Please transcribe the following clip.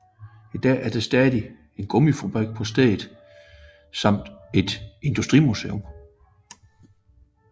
I dag er der stadig en gummifabrik på stedet samt et industrimuseum